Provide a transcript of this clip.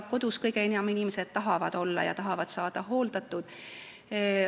Kodus tahavad inimesed kõige enam olla ja tahavad saada seal hooldatud.